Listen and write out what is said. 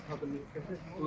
Burda atladı.